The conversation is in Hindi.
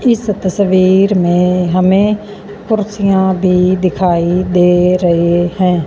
इस तस्वीर में हमें कुर्सियां भी दिखाई दे रहे हैं।